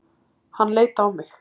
Hann leit á mig.